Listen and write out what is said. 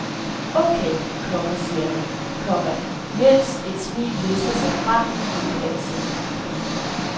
Okay, komma siger han, komma mens et smil lister sig frem i hele ansigtet. punktum